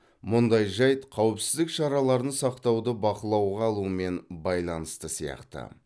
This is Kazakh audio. мұндай жайт қауіпсіздік шараларын сақтауды бақылауға алумен байланысты сияқты